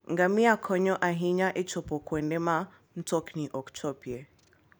Ngamia konyo ahinya e chopo kuonde ma mtokni ok chopie.